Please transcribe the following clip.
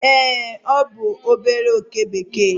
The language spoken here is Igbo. ee, ọ bụ obere oke bekee